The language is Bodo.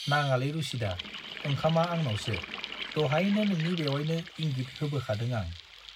नाङालै रुसिदा, ओंखामा आंनावसो, दहायनो नोंनि बेउवाइनो इंगित होबोखादों आं।